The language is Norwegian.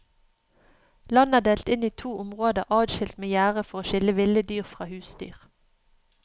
Landet er delt inn i to områder adskilt med gjerde for å skille ville dyr fra husdyr.